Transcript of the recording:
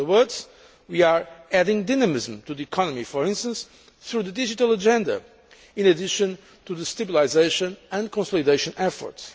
In other words, we are adding dynamism to the economy, for instance, through the digital agenda, in addition to the stabilisation and consolidation efforts.